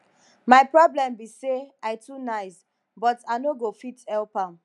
my problem be say i too nice but i no go fit help am